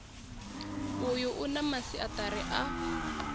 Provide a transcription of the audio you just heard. uyu u na masiaṱari a